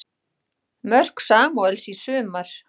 Mörk Samúels í sumar